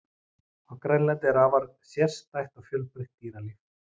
á grænlandi er afar sérstætt og fjölbreytt dýralíf